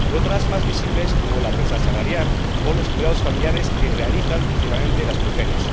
Y otros más visibles, como la brecha salarial o los cuidados familiares, que realizan principalmente las mujeres.